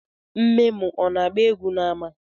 Nne m ọ na-agba egwu n’ama?